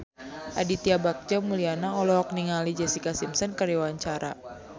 Aditya Bagja Mulyana olohok ningali Jessica Simpson keur diwawancara